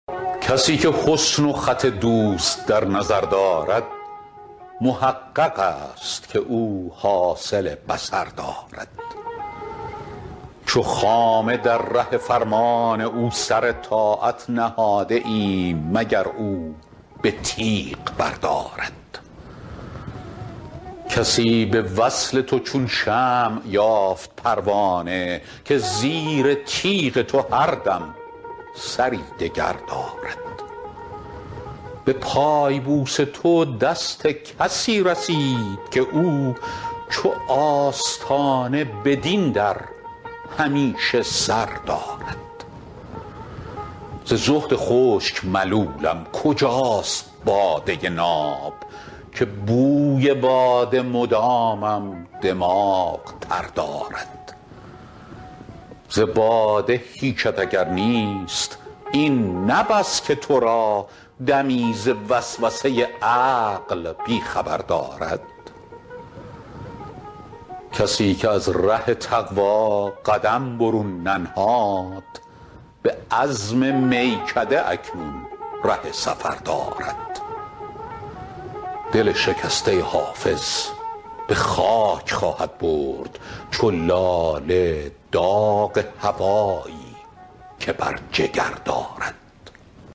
کسی که حسن و خط دوست در نظر دارد محقق است که او حاصل بصر دارد چو خامه در ره فرمان او سر طاعت نهاده ایم مگر او به تیغ بردارد کسی به وصل تو چون شمع یافت پروانه که زیر تیغ تو هر دم سری دگر دارد به پای بوس تو دست کسی رسید که او چو آستانه بدین در همیشه سر دارد ز زهد خشک ملولم کجاست باده ناب که بوی باده مدامم دماغ تر دارد ز باده هیچت اگر نیست این نه بس که تو را دمی ز وسوسه عقل بی خبر دارد کسی که از ره تقوا قدم برون ننهاد به عزم میکده اکنون ره سفر دارد دل شکسته حافظ به خاک خواهد برد چو لاله داغ هوایی که بر جگر دارد